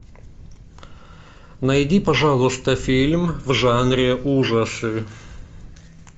найди пожалуйста фильм в жанре ужасы